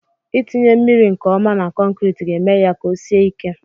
Itinye mmiri nke ọma na kọnkriti ga-eme ya ka o sie ike